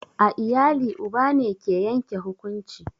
A iyali uba ne ke yanke hukunci